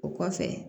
O kɔfɛ